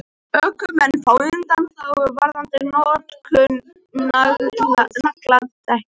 Ökumenn fá undanþágu varðandi notkun nagladekkja